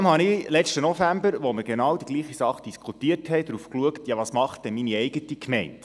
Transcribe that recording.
Als wir letzten November genau dasselbe Thema diskutierten, schaute ich trotzdem nach, was meine eigene Gemeinde macht.